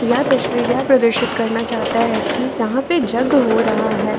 यह तशवीर यह प्रदर्शित करना चाहता है कि यहां पे जग हो रहा है।